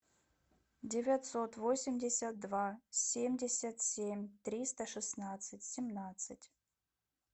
девятьсот восемьдесят два семьдесят семь триста шестнадцать семнадцать